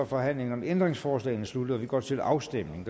forhandlingen om ændringsforslagene sluttet og vi går til afstemning